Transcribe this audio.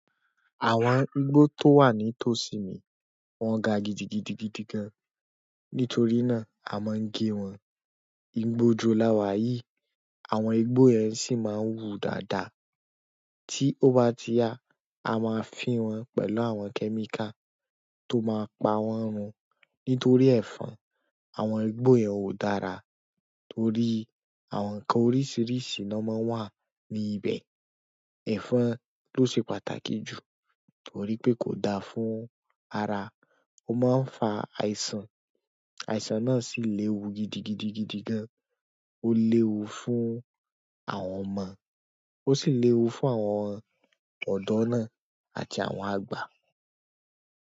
Àwọn igbó tó wà ní tòsí mi, wọ́n ga gidigidigidi gan-an. Nítorí náà, a máa ń gé wọn. Ìgbà òjò la wà yíì, àwọn igbó yẹn sì máa ń wú dáadáa. Tí ó bá ti yá, a máa fín wọn pẹ̀lú àwọn kẹ́míkà tó máa pa wọn run. Nítorí ẹ̀fọn, àwọn igbó yẹn ò dára torí àwọn nǹkan oríṣìíríṣìí ni wọ́n máa ń wà ní ibẹ̀. Ẹ̀fọn ló ṣe pàtàkì jù torí pé kò da fún ara. Ó máa ń fa àìsàn, àìsàn náà sì léwu gidigidigidi gan. Ó léwu fún àwọn ọmọ, ó sì léwu fún àwọn ọ̀dọ́ náà àti àwọn àgbà.